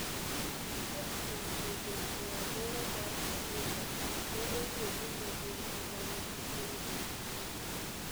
Achiel kuom grube e alwora mar Cabinda, ne oyie ni ne gin e ma ne gikelo nekno.